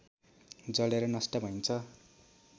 जलेर नष्ट भइन्छ